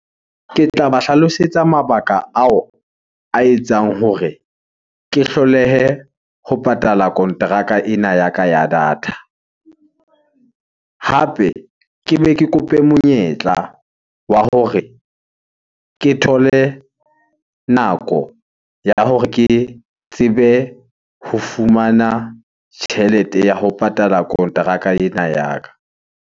Ke tla ba hlalosetsa mabaka ao a etsang hore ke hlolehe ho patala kontraka ena ya ka ya data. Hape ke be ke kope monyetla wa hore ke thole nako ya hore ke tsebe ho fumana tjhelete ya ho patala kontraka ena ya ka.